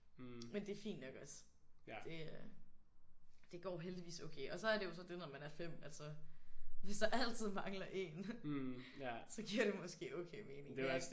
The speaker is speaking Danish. Men det er fint nok også. Det er det går heldigvis okay. Og så er det jo så det når man er 5 at så hvis der altid mangler én så giver det måske okay mening